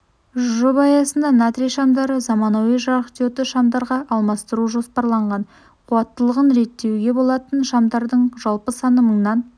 жоба аясында натрий шамдарды заманауи жарықдиодты шамдарға алмастыру жоспарланған қуаттылығын реттеуге болатын шамдардың жалпы саны мыңнан